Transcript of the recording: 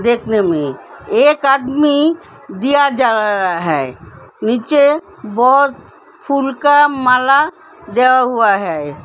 देखने में एक आदमी दीया जला रहा है। नीचे बोहोत फूल का माला दिया हुआ है।